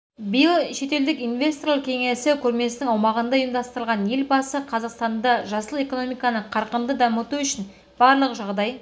биыл шетелдік инвесторлар кеңесі көрмесінің аумағында ұйымдастырылған елбасы қазақстанда жасыл экономиканы қарқынды дамыту үшін барлық жағдай